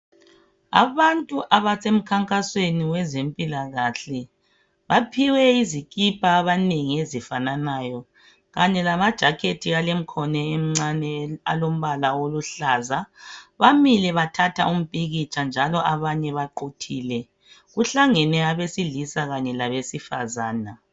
Abantu abasemkhankasweni wezempilakahle baphiwe izikipa abanengi ezifananayo kanye lama jakhethi alemkhono emincane alombala oluhlaza bamile bathatha umpikitsha njalo abanye baqhuthile kuhlangene abasilisa kanye labesifazana .